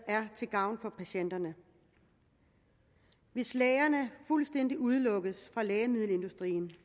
er til gavn for patienterne hvis lægerne fuldstændig udelukkes fra lægemiddelindustrien